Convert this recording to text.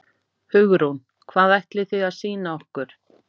Hugrún: Hvað ætlið þið að sýna okkur?